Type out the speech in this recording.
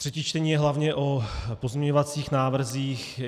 Třetí čtení je hlavně o pozměňovacích návrzích.